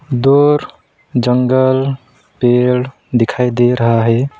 दूर जंगल पेड़ दिखाई दे रहा है।